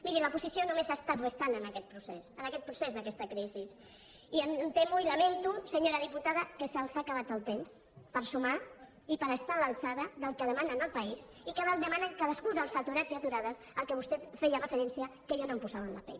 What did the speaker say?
miri l’oposició només ha estat restant en aquest procés en aquest procés d’aquesta crisi i em temo i lamento senyora diputada que se’ls ha acabat el temps per sumar i per estar a l’alçada del que demana el país i del que demana cadascun dels aturats i aturades a què vostè feia referència que jo no em posava en la pell